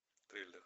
триллер